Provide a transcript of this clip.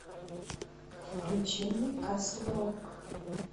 включи мне касл рок